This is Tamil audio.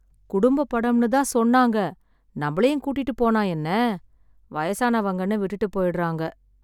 குடும்பப் படம்னு தான் சொன்னாங்க, நம்மளையும் கூட்டிட்டுப் போனா என்ன? வயசானவங்கன்னு விட்டுட்டுப் போய்டுறாங்க.